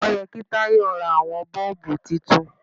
Ó yẹ kí Tayo ra àwọn bọ́ọ̀bù titun.